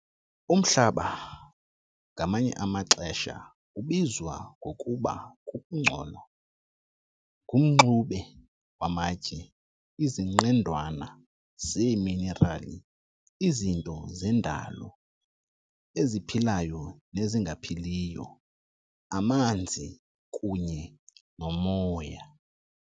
Umhlaba, ngamanye amaxesha ubizwa ngokuba kukungcola, ngumxube wamatye, izinqendwana zeeminerali, izinto zendalo, eziphilayo nezingaphiliyo, amanzi, kunye nomoya.